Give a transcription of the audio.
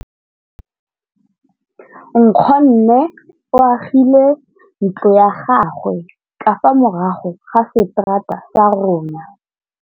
Nkgonne o agile ntlo ya gagwe ka fa morago ga seterata sa rona.